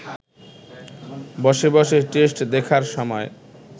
বসে বসে টেস্ট দেখার সময়